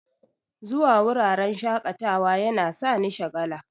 zuwa wuraren shaƙatawa yana sani shagala.